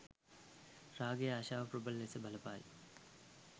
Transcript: රාගය, ආශාව, ප්‍රබල ලෙස බලපායි.